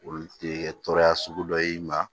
Olu tɛ tɔɔrɔya sugu dɔ y'i ma